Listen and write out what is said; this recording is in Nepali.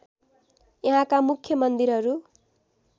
यहाँका मुख्य मन्दिरहरू